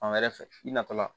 Fan wɛrɛ fɛ i natɔla